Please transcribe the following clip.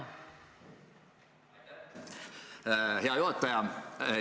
Hea juhataja!